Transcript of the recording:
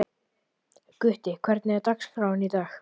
Gutti, hvernig er dagskráin í dag?